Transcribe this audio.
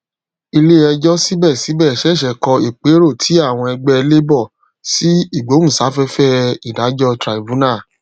ilé ẹjọ síbẹsíbẹ ṣẹṣẹ kọ ìpérò tí àwọn ẹgbẹ labour sí igbohunsafẹfẹ ìdájọ tribunal